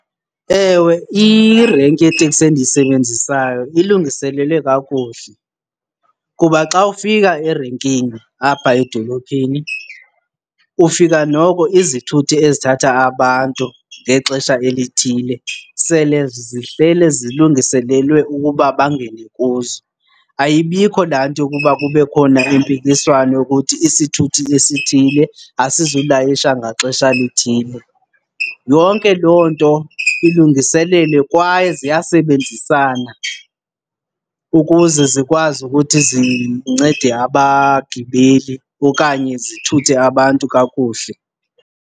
Ewe, irenki yeeteksi endiyisebenzisayo ilungiselelwe kakuhle kuba xa ufika erenkini apha edolophini ufika noko izithuthi ezithatha abantu ngexesha elithile sele zihlele zilungiselelwe ukuba bangene kuzo. Ayibikho laa nto yokuba kube khona impikiswano yokuthi isithuthi esithile asizulayisha ngaxesha lithile. Yonke loo nto ilungiselelwe kwaye ziyasebenzisana ukuze zikwazi ukuthi zincede abagibeli okanye zithuthe abantu kakuhle.